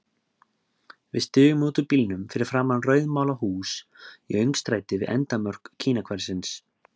Við stigum út úr bílnum fyrir framan rauðmálað hús í öngstræti við endamörk Kínahverfisins.